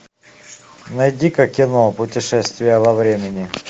найди ка кино путешествие во времени